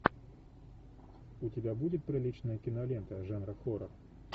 у тебя будет приличная кинолента жанра хоррор